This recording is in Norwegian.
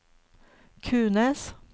Kunes